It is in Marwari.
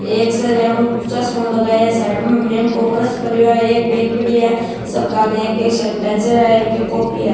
एक सर चश्मों लगाया है साइड में मेम को पर्स पडीयो है एक बेग पड़ी है सब के आगे एक एक सेनीटाइजर है एक एक कॉपी है।